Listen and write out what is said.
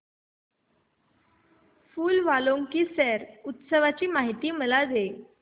फूल वालों की सैर उत्सवाची मला माहिती दे